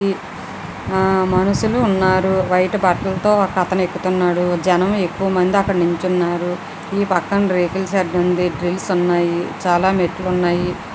ఆ మనుషులు ఉన్నారు వైట్ బట్టలతో ఒక అతను ఎక్కుతున్నాడు జనం ఎక్కువ మంది అక్కడ నించున్నారు ఈ పక్కన రేకుల షెడ్ ఉంది . డ్రిల్ల్స్ ఉన్నాయి చాలా మెట్లు ఉన్నాయి.